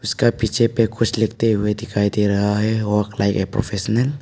कुछ लिखते हुए दिखाई दे रहा है और प्रोफेशनल ।